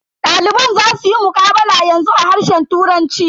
Daliban za suyi muqabala yanzu a harshen turanci.